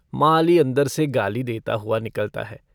माली अन्दर से गाली देता हुआ निकलता है।